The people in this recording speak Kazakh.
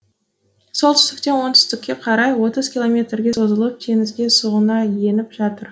солтүстіктен оңтүстікке қарай отыз километрге созылып теңізге сұғына еніп жатыр